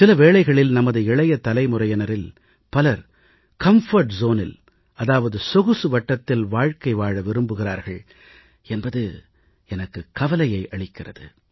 சில வேளைகளில் நமது இளைய தலைமுறையினரில் பலர் வசதியான இடத்தில் சொகுசு வட்டத்தில் வாழ்க்கை வாழ விரும்புகிறார்கள் என்பது எனக்கு சில வேளைகளில் கவலையை அளிக்கிறது